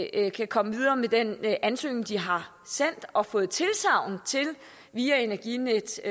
eller kan komme videre med den ansøgning de har sendt og fået tilsagn til via energinetdk